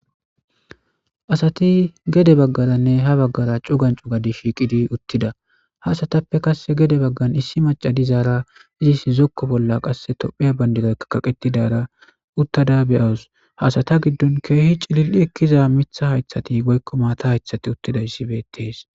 Asati gede baggaranne ha bagara cugani cugani gididi shiqqi uttida .ha asatappe qase gede bagani issi maca uttada issi guye baggan qassi topiya banidiray kaqetidara uttada de'awusu ha asata giddon keehi cilili ekida mithati woykko matha giddiza issi beettes.